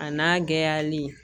A n'a gɛlɛyali